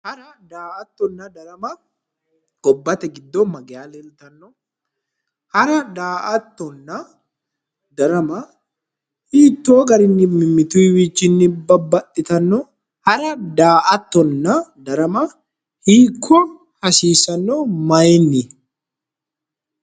Hara daa'attona darama gobbate giddo mageya leelitanno hara daa'attona darama hitoo garinnii mimittuwiichinni baxxitanno? Hara daa'attona darama hiikko hasiisano mayinni?